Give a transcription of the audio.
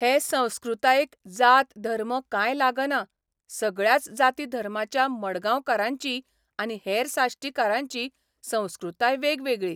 हे संस्कृतायेक जात धर्म काय लागना सगळ्याच जाती धर्माच्या मडगांवकारांची आनी हेर साश्टीकारांची संस्कृताय वेगवेगळी.